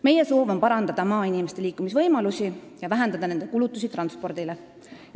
Meie soov on parandada maainimeste liikumisvõimalusi ja vähendada nende kulutusi transpordile.